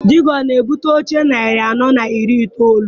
Di gị ọ na-ebute oche narị anọ na iri itoolu?